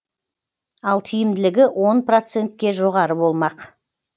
ал тиімділігі он процентке жоғары болмақ